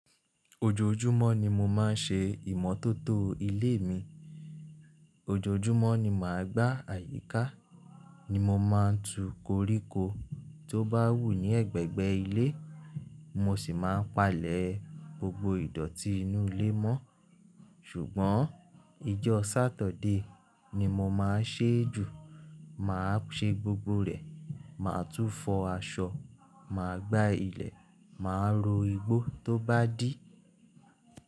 Ojoojúmọ́ ni mo máa ń ṣe ìmọ́tótó ilé mi. Ojoojúmọ́ ni mà á gba àyíká, ni mo máa ń tu koríko tó bá wù ní ẹ̀gbẹ̀gbẹ́ ilé, mo sì máa ń palẹ̀ gbogbo ìdọ̀tí inú ilé mọ́. Ṣùgbọ́n ijọ́ sátọ̀dé ni mo máa ń ṣe é jù. Mà á ṣe gbogbo rẹ̀, mà á tún fọ aṣọ, mà á gbá ilẹ̀, mà á ro igbó tó bá dí.